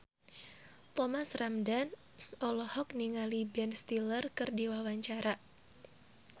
Thomas Ramdhan olohok ningali Ben Stiller keur diwawancara